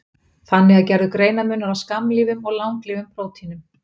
Þannig er gerður greinarmunur á skammlífum og langlífum prótínum.